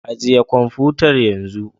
Ajiye kwamfutar yanzu